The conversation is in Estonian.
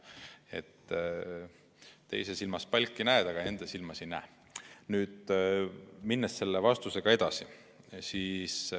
Nii et teise silmas näed, aga enda silmas ei näe.